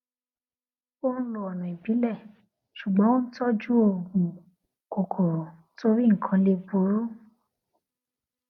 ó n lo ọnà ìbílẹ ṣùgbọn ó n tọjú òògùn kòkòrò torí nnkan lè burú